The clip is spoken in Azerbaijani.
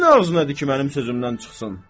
Kimin ağzınadı ki, mənim sözümdən çıxsın?